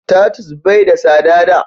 tatus bai da tsada da